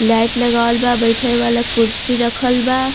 Light लगावल बा बइठे वाला कुर्शी रखल बा।